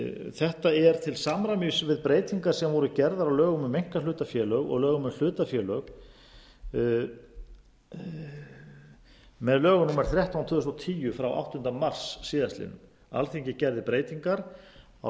þetta er til samræmis við breytingar sem voru gerðar á lögum um einkahlutafélög og lögum um hlutafélög með lögum númer þrettán tvö þúsund og tíu frá áttunda mars síðastliðinn alþingi gerði breytingar á